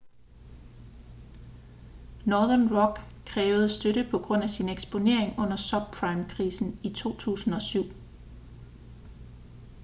northern rock krævede støtte på grund af sin eksponering under subprime-krisen i 2007